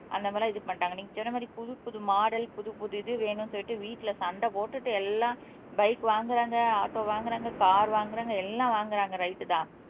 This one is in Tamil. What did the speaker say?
அந்த மாதிரியெல்லாம் இது பண்ணிட்டாங்க நீங்க சொன்னமாரி புது புது மாடல் புது புது இது வேணும்னு சொல்லிட்டு வீட்ல சண்டை போட்டுட்டு எல்லாம் பைக் வாங்குறாங்க ஆட்டோ வாங்குறாங்க கார் வாங்குறாங்க எல்லாம் வாங்குறாங்க ரைட் தான்